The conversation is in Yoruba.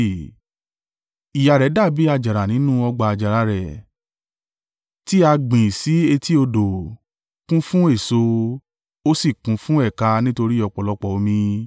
“ ‘Ìyá rẹ dàbí àjàrà nínú ọgbà àjàrà rẹ̀; tí á gbìn sí etí odò ó, kún fún èso, ó sì kún fún ẹ̀ka nítorí ọ̀pọ̀lọpọ̀ omi.